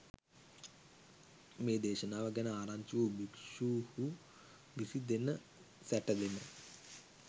මේ දේශනාව ගැන ආරංචි වූ භික්ෂූහු විසිදෙන සැටදෙන